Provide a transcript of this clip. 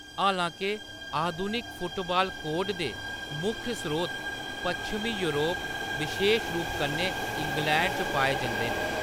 हालांके, आधुनिक football code दे मुक्ख स्रोत पच्छमी योरप, बशेश रूप कन्नै इंग्लैंड च पाए जंदे न।